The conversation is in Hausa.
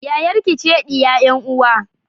Yayarki ce diya 'yan uwa